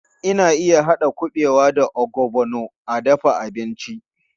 Ana iya haɗa kuɓewa da ogbono a dafa abinci.